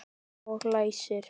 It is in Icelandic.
Og læsir.